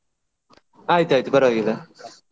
ಆಯ್ತ್ ಆಯ್ತ್ ಪರವಾಗಿಲ್ಲ.